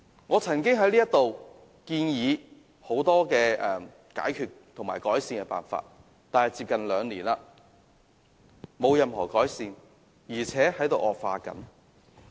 我曾在本會建議很多解決和改善問題的辦法，但至今接近兩年，問題並無任何改善，而且還在惡化。